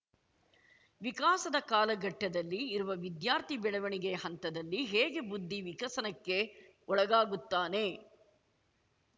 ವಿಕಾಸದ ಕಾಲಘಟ್ಟದಲ್ಲಿ ಇರುವ ವಿದ್ಯಾರ್ಥಿ ಬೆಳೆವಣಿಗೆಯ ಹಂತದಲ್ಲಿ ಹೇಗೆ ಬುದ್ದಿ ವಿಕಸನಕ್ಕೆ ಒಳಗಾಗುತ್ತಾನೆ